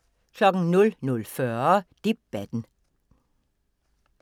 00:40: Debatten